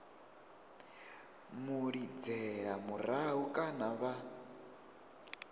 mu lidzela murahu kana vha